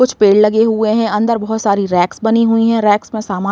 कुछ पेड़ लगे हुए हैं। अंदर बहोत सारी रैक्स बनी हुई हैं। रैक्स में समान --